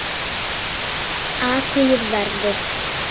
Athugið verðið.